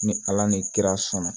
Ni ala ni kira sɔnna